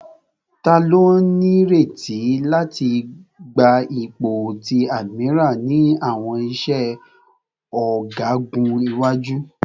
Tani o nireti lati gba ipo ti admiral ni awọn iṣẹ ọgagun iwaju?